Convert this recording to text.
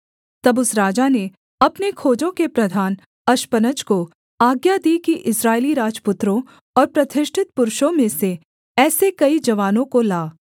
तब उस राजा ने अपने खोजों के प्रधान अश्पनज को आज्ञा दी कि इस्राएली राजपुत्रों और प्रतिष्ठित पुरुषों में से ऐसे कई जवानों को ला